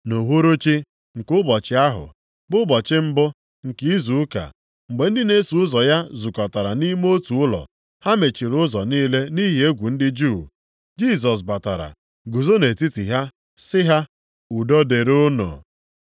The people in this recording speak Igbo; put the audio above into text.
Nʼuhuruchi nke ụbọchị ahụ, bụ ụbọchị mbụ nke izu ụka, mgbe ndị na-eso ụzọ ya zukọtara nʼime otu ụlọ. Ha mechiri ụzọ niile nʼihi egwu ndị Juu. Jisọs batara guzo nʼetiti ha sị ha, “Udo dịrị unu!”